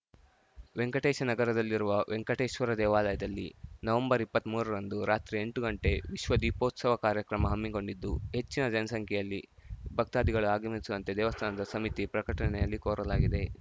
ವೆಂಕಟೇಶ ನಗರದಲ್ಲಿರುವ ವೆಂಕಟೇಶ್ವರ ದೇವಾಲಯದಲ್ಲಿ ನವಂಬರ್ ಇಪ್ಪತ್ಮೂರ ರಂದು ರಾತ್ರಿ ಎಂಟು ಗಂಟೆ ವಿಶ್ವ ದೀಪೋತ್ಸವ ಕಾರ್ಯಕ್ರಮ ಹಮ್ಮಿಕೊಂಡಿದ್ದು ಹೆಚ್ಚಿನ ಸಂಖ್ಯೆಯಲ್ಲಿ ಭಕ್ತಾದಿಗಳು ಆಗಮಿಸುವಂತೆ ದೇವಸ್ಥಾನದ ಸಮಿತಿ ಪ್ರಕಟಣೆಯಲ್ಲಿ ಕೋರಲಾಗಿದೆ